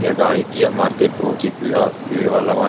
यह गाड़ी यह मार्केट बहुत ही भीड़ा भीड़ वाला मार्केट --